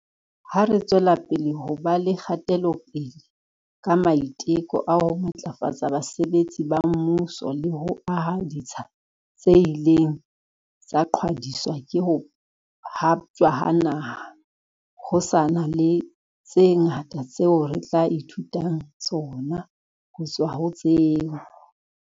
Ha re tswelapele ho ba le kgatelopele ka maiteko a ho matlafatsa basebetsi ba mmuso le ho aha ditsha tse ileng tsa qhwadiswa ke ho haptjwa ha naha, ho sa na le tse ngata tseo re tla e thutang tsona ho tswa ho tseo.